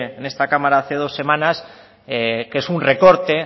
en esta cámara hace dos semanas que es un recorte